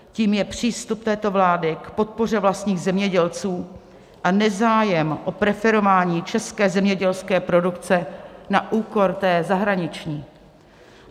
Tím je přístup této vlády k podpoře vlastních zemědělců a nezájem o preferování české zemědělské produkce na úkor té zahraniční.